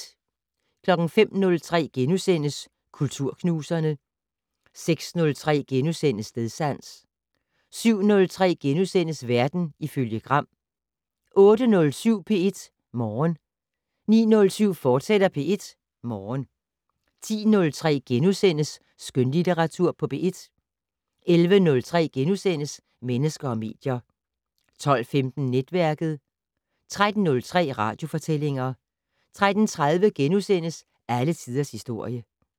05:03: Kulturknuserne * 06:03: Stedsans * 07:03: Verden ifølge Gram * 08:07: P1 Morgen 09:07: P1 Morgen, fortsat 10:03: Skønlitteratur på P1 * 11:03: Mennesker og medier * 12:15: Netværket 13:03: Radiofortællinger 13:30: Alle tiders historie *